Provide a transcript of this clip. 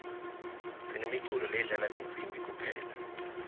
sinemiculo ledlala tinsibi kuphela